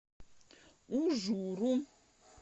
ужуру